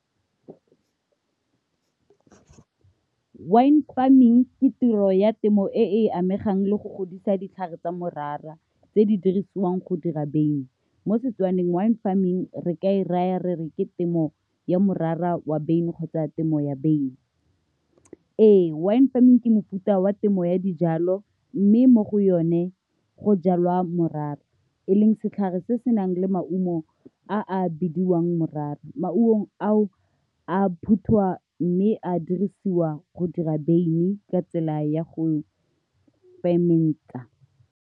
Wine farming ke tiro ya temo e e amegang le go godisa ditlhare tsa morara, tse di dirisiwang go dira wyn. Mo Setswaneng, wine farming re ka e raya re re ke temo ya morara wa beine kgotsa temo ya wyn. Ee, wine farming ke mofuta wa temo ya dijalo, mme mo go yone go jalwa morara, e leng setlhare se se nang le maungo a a bidiwang morara. Maungo ao a phuthiwa, mme a dirisiwa go dira wyn ka tsela ya go .